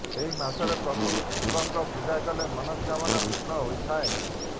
ଏହି ମାସରେ ପ୍ରଭୁ ଶିବଙ୍କ ପୂଜା କଲେ ମନସ୍କାମନା ପୂରଣ ହୋଇଥାଏ